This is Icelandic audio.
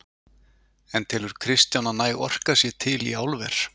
En telur Kristján að næg orka sé til í álver?